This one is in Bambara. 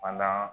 Fadan